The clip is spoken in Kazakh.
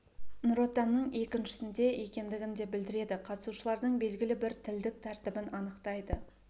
нұр отанның еншісінде екендігін де білдіреді қатысушылардың белгілі бір тілдік тәртібін анықтайды